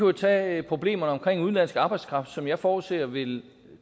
jo tage problemerne om udenlandsk arbejdskraft som jeg forudser vil